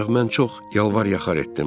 Ancaq mən çox yalvar yaxar etdim.